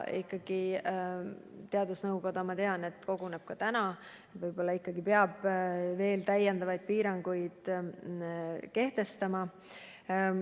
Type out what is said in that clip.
Teadusnõukoda, ma tean, koguneb täna, võib-olla peab veel täiendavaid piiranguid kehtestama.